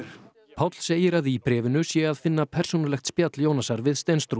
Páll segir að í bréfinu sé að finna persónulegt spjall Jónasar við